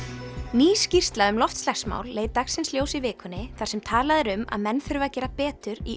ný skýrsla um loftslagsmál leit dagsins ljós í vikunni þar sem talað er um að menn þurfi að gera betur í